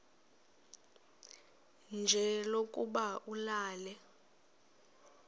nje lokuba ulale